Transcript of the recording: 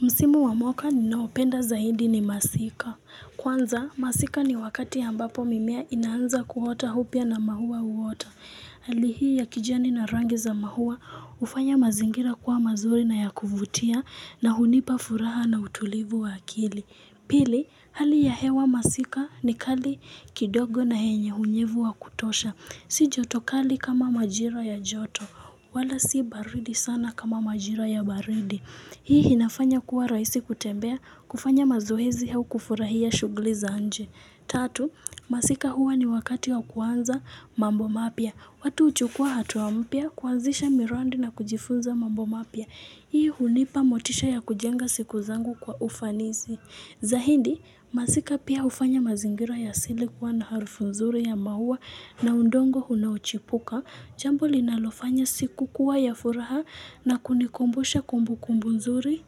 Msimu wa mwaka ninaopenda zaidi ni masika. Kwanza, masika ni wakati ambapo mimea inaanza kuota au pia na maua uota. Hali hii ya kijani na rangi za maua hufanya mazingira kuwa mazuri na ya kuvutia na hunipa furaha na utulivu wa akili. Pili, hali ya hewa masika ni kali kidogo na yenye unyevu wa kutosha. Si joto kali kama majira ya joto, wala si baridi sana kama majira ya baridi. Hii inafanya kuwa rahisi kutembea kufanya mazoezi au kufurahia shughuli za nje. Tatu, masika huwa ni wakati wa kuanza mambo mapya. Watu huchukua hatua mpya kuanzisha miradi na kujifunza mambo mapya. Hii hunipa motisha ya kujenga siku zangu kwa ufanisi. Zaidi, masika pia hufanya mazingira ya asili kuwa na harufu nzuri ya maua na udongo unaochipuka. Jambo linalofanya siku kuwa ya furaha na kunikumbusha kumbu kumbu nzuri